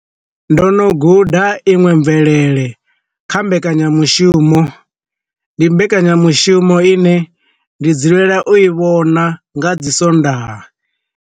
Ndo no guda iṅwe mvelele kha mbekanyamushumo, ndi mbekanyamushumo ine ndi dzulela u i vhona nga dzi swondaha.